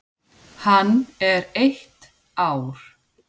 Hann er eitt ár.